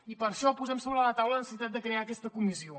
i per això posem sobre la taula la necessitat de crear aquesta comissió